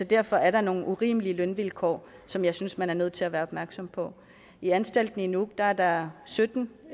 derfor er der nogle urimelige lønvilkår som jeg synes man er nødt til at være opmærksom på i anstalten i nuuk er der sytten